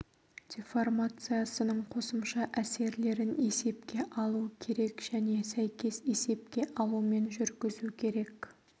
деформациясының қосымша әсерлерін есепке алу керек және сәйкес есепке алумен жүргізу керек